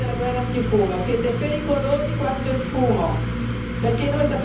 Voi talebani della guerra antifumo siete pericolosi quanto il fumo!